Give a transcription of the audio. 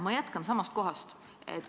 Ma jätkan samast kohast.